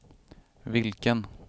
vilken